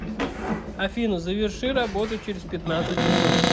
афина заверши работу через пятнадцать минут